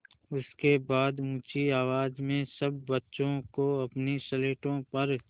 उसके बाद ऊँची आवाज़ में सब बच्चों को अपनी स्लेटों पर